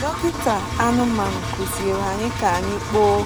Dọkịta anụmanụ kụziri anyị ka anyị kpoo